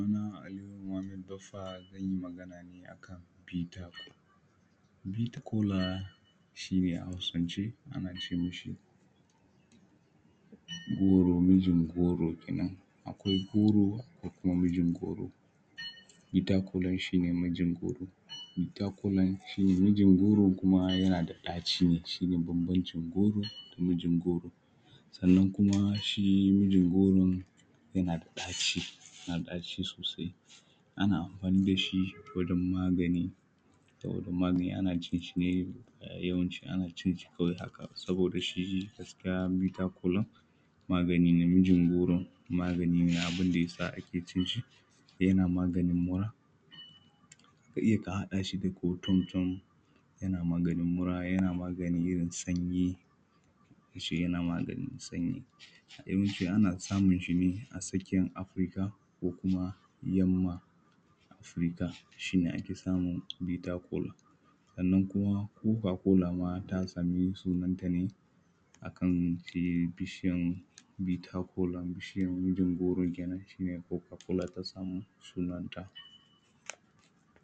sunana aliyu muhammad baffa zan yi magana ne a kan bitter cola bitter cola ʃi: ne: a hausance ana ce mashi goro mijin goro kenan akwai goro akwai kuma mijin goro bitter cola shi ne mijin goro bitter cola shi ne mijin goron kuma yana da ɗaci ne shi ne bambancin goro da mijin goro sannan kuma shi mijin goron yana da ɗaci yana da ɗaci sosai ana amfani da shi wajen magani saboda magani ana cinshi ne yawanci ana cinshi kawai haka saboda shi gaskiya bitter cola magani ne mijin goro magani ne abin da ya sa ake cinshi yana maganin mura ka iya ka haɗa shi da ko tom tom yana maganin mura yana maganin irin sanyi shi yana maganin sanyi yawanci ana samunshi ne a tsakiyan africa ko kuma yamma africa shi ne ake samun bitter cola sannan kuma coca cola ma ta samu sunanta ne a kan bishijyan shi bitter cola bishiyan mijin goron kenan shi ne coca cola ta samu sunanta